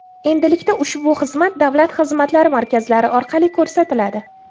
Endilikda ushbu xizmat Davlat xizmatlari markazlari orqali ko‘rsatiladi.